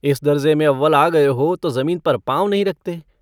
इस दर्जे़ में अव्वल आ गए हो तो ज़मीन पर पाँव नहीं रखते।